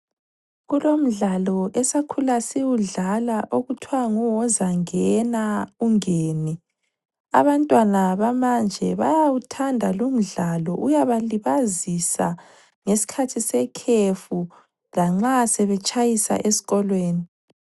Kukomdlalo esakhula siwudlala okuthiwa nguwozangena ungene, abantwana bamanje bayawuthanda lumdlalo. Uyabalibazisa ngesikhathi sekhefu lanxa sebetshayisa esikolweni.